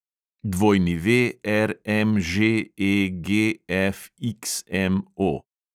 WRMŽEGFXMO